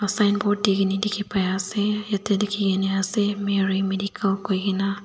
signboard dikhini likhi pai ase yate likhi kini ase mary medical koi ke na.